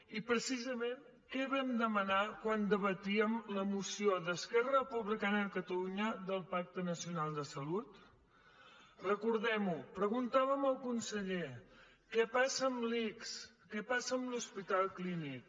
i precisament què vam demanar quan debatíem la moció d’esquerra republicana de catalunya del pacte nacional de salut recordem ho preguntàvem al conseller què passa amb l’ics què passa amb l’hospital clínic